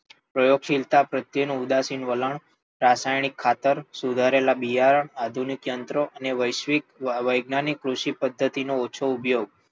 પ્રયોગશીલતા પ્રત્યે ઉદાસીન વલણ, રાસાયણિક ખતરો, સુધારેલા બિયારણો, આધુનિક યંત્રો અને વૈસ્વીક અને વૈજ્ઞાનિક કૃષિ પદ્ધતી નો ઓછો ઉપયોગ